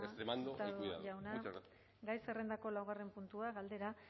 eskerrik asko amaitu da hurtado jauna gai zerrendako laugarren puntua galdera